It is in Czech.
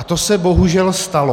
A to se bohužel stalo.